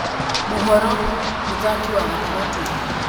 (Mohoro) mũthaki wa gatagatĩ